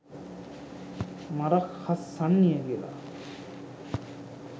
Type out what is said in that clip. මරක් හස් සන්නිය කියල.